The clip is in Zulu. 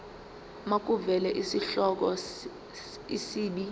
makuvele isihloko isib